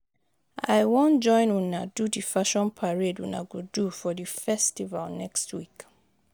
I wan join una do the fashion parade una go do for the festival next week